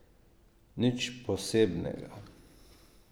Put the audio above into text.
Nič posebnega.